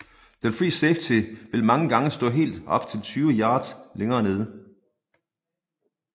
Den fri safety vil mange gange stå helt op til tyve yards længere nede